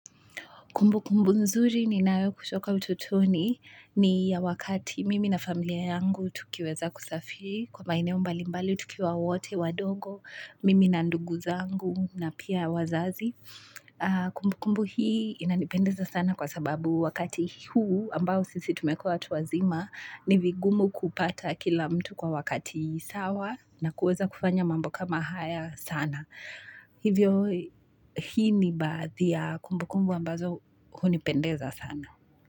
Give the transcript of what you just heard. Kumbu kumbu nzuri ninayo kutoka utotoni ni ya wakati mimi na familia yangu tukiweza kusafiri kwa maeneo mbalimbali tukiwa wote, wadongo, mimi na ndugu zangu na pia wazazi. Kumbu kumbu hii inanipendeza sana kwa sababu wakati huu ambao sisi tumekua watu wazima ni vigumu kupata kila mtu kwa wakati sawa na kuweza kufanya mambo kama haya sana. Hivyo hii ni baadhi ya kumbukumbu ambazo hunipendeza sana.